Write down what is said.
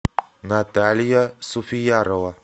наталья суфиярова